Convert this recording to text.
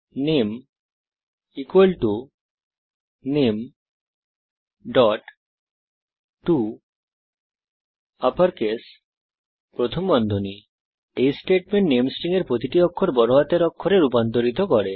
নামে নামে toUpperCase এই স্টেটমেন্ট নামে স্ট্রিং এর প্রতিটি অক্ষর বড় হাতের অক্ষরে রূপান্তরিত করে